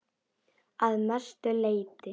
Að mestu leyti